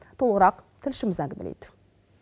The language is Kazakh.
толығырақ тілшіміз әңгімелейді